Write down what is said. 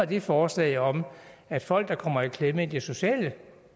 det forslag om at folk der kommer i klemme i det sociale